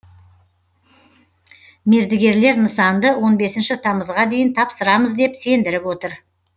мердігерлер нысанды он бесінші тамызға дейін тапсырамыз деп сендіріп отыр